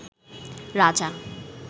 রাজা